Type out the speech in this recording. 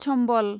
Chambal